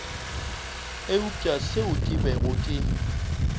eupša seo ke bego ke